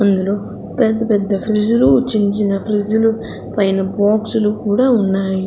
అందులో పెద్ద-పెద్ద ఫ్రిడ్జ్ లు చిన్న-చిన్న ఫ్రిడ్జ్ లు పైన బాక్స్ లు కూడా ఉన్నాయి.